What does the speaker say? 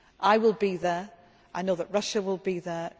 I will be there, and I know that Russia will be there